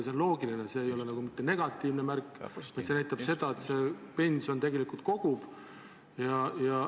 See on loogiline, see ei ole mitte negatiivne märk, vaid näitab seda, et pensioniraha tegelikult koguneb.